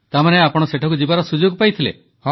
ତାମାନେ ଆପଣ ସେଠାକୁ ଯିବାର ସୁଯୋଗ ପାଇଥିଲେ